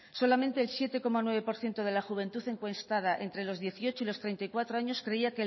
solamente el siete coma nueve por ciento de la juventud encuestada entre los dieciocho y los treinta y cuatro años creía